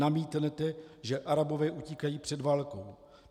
Namítnete, že Arabové utíkají před válkou.